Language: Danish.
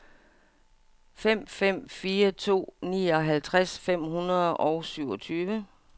fem fem fire to nioghalvtreds fem hundrede og syvogtyve